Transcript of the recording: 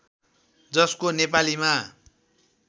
जसको नेपालीमा